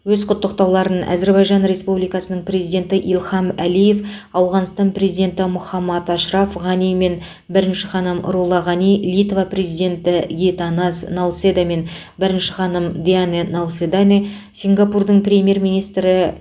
өз құттықтауларын әзербайжан республикасының президенті ильхам әлиев ауғанстан президенті мұхаммад ашраф ғани мен бірінші ханым рула ғани литва президенті гитанас науседа мен бірінші ханым диане науфедане сингапурдің премьер министрі